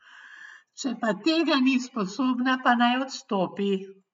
Če pa tega ni sposobna, pa naj odstopi.